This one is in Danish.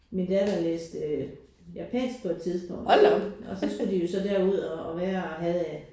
Min datter læste japansk på et tidspunkt og så skulle de jo så derud og og være og havde øh